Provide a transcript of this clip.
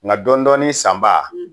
Nka dɔɔnin dɔɔnin san baa